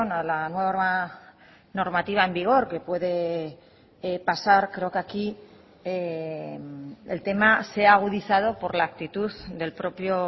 a la nueva normativa en vigor que puede pasar creo que aquí el tema se ha agudizado por la actitud del propio